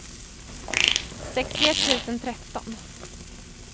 sextioett tusen tretton